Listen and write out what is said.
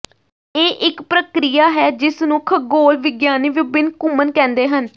ਇਹ ਇਕ ਪ੍ਰਕਿਰਿਆ ਹੈ ਜਿਸ ਨੂੰ ਖਗੋਲ ਵਿਗਿਆਨੀ ਵਿਭਿੰਨ ਘੁੰਮਣ ਕਹਿੰਦੇ ਹਨ